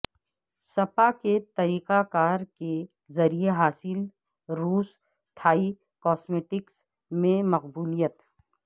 سپا کے طریقہ کار کے ذریعے حاصل روس تھائی کاسمیٹکس میں مقبولیت